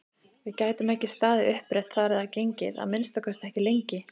Við gætum ekki staðið upprétt þar eða gengið, að minnsta kosti ekki lengi!